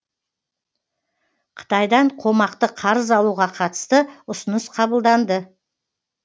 қытайдан қомақты қарыз алуға қатысты ұсыныс қабылданды